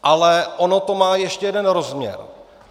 Ale ono to má ještě jeden rozměr.